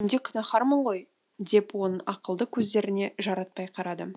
мен де күнәһармын ғой деп оның ақылды көздеріне жаратпай қарадым